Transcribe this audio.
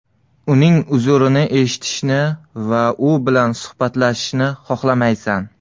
Uning uzrini eshitishni va u bilan suhbatlashishni xohlamaysan.